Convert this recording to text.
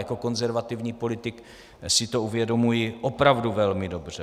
Jako konzervativní politik si to uvědomuji opravdu velmi dobře.